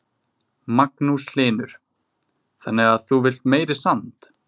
Magnús Hlynur: Þannig að þú villt meiri sand?